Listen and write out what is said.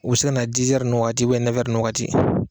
U bɛ se ka na ninnu waati ninnu wagati